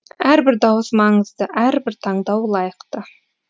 әрбір дауыс маңызды әрбір таңдау лайықты